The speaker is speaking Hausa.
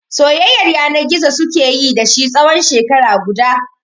Soyayyar yana gizo suke yi da shi tsawon shekara guda.